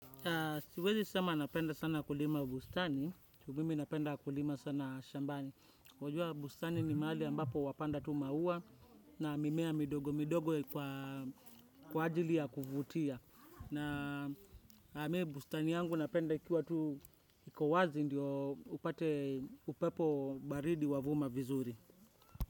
Siwezi sema napenda sana kulima bustani. Ju mimi napenda kulima sana shambani. Wajua. Bustani ni mahali ambapo wapanda tu maua na mimea midogo midogo kwa ajili ya kuvutia. Na mie bustani yangu napenda ikiwa tu iko wazi ndio upate upepo baridi wavuma vizuri.